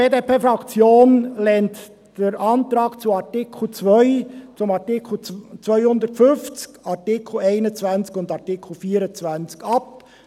Die BDP-Fraktion lehnt die Anträge zu Artikel 2, Artikel 250, Artikel 21 und Artikel 24 ab.